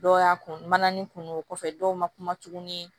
Dɔw y'a kun mana ni kunun o kɔfɛ dɔw ma kuma tuguni